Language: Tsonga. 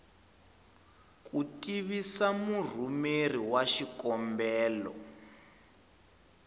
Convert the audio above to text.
ku tivisa murhumeri wa xikombelo